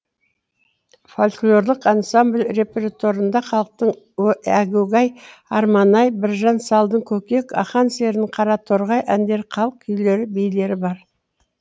фольклорлық ансамбль репертуарында халықтың әгугай арман ай біржан салдың көкек ақан серінің қараторғай әндері халық күйлері билері бар